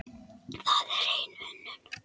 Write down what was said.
Það er hrein unun.